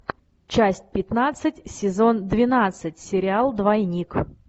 часть пятнадцать сезон двенадцать сериал двойник